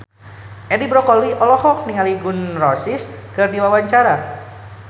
Edi Brokoli olohok ningali Gun N Roses keur diwawancara